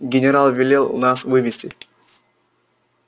генерал велел нас вывести